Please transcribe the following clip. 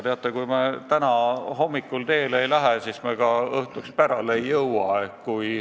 Teate, kui me täna hommikul teele ei lähe, siis me ka õhtuks pärale ei jõua.